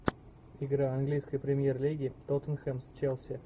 игра английской премьер лиги тоттенхэм с челси